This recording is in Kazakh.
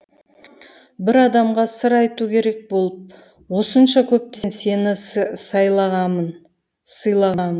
бір адамға сыр айту керек болып осынша көптен сені сайлағамын